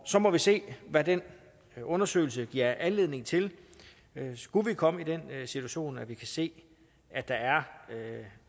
så må vi se hvad den undersøgelse giver anledning til skulle vi komme i den situation at vi kan se